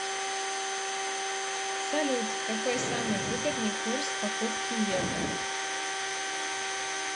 салют какой самый выгодный курс покупки евро